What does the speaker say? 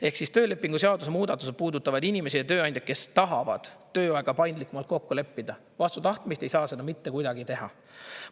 Ehk siis töölepingu seaduse muudatused puudutavad inimesi ja tööandjaid, kes tahavad tööaega paindlikumalt kokku leppida, vastu tahtmist ei saa seda mitte kuidagi teha.